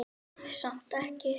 Samt ekki.